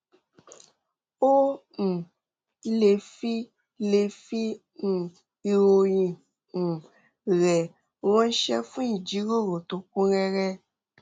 ó um lè fi lè fi um ìròyìn um rẹ ránṣẹ́ fún ìjíròrò tó kún rẹ́rẹ́